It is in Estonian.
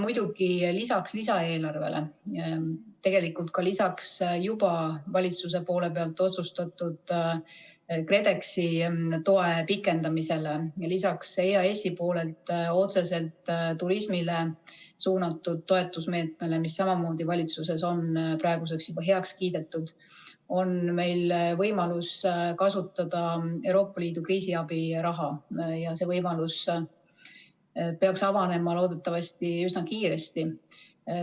Lisaks lisaeelarvele, tegelikult ka lisaks juba valitsuse otsustatud KredExi toe pikendamisele ja lisaks EAS-i otseselt turismile suunatud toetusmeetmele, mis samamoodi on valitsuses praeguseks juba heaks kiidetud, on meil võimalus kasutada Euroopa Liidu kriisiabi raha ja see võimalus peaks avanema loodetavasti üsna kiiresti.